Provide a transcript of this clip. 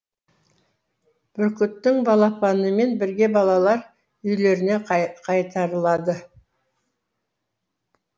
бүркіттің балапанымен бірге балалар үйлеріне қайтарылады